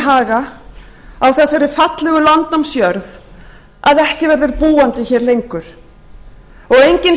haga á þessari fallegu landnámsjörð að ekki verður búandi hér lengur og enginn situr við glugga og